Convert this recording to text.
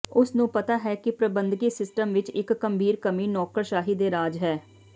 ਉਸ ਨੂੰ ਪਤਾ ਹੈ ਕਿ ਪ੍ਰਬੰਧਕੀ ਸਿਸਟਮ ਵਿੱਚ ਇੱਕ ਗੰਭੀਰ ਕਮੀ ਨੌਕਰਸ਼ਾਹੀ ਦੇ ਰਾਜ ਹੈ